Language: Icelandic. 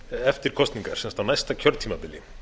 eftir kosningar sem sagt á næsta kjörtímabili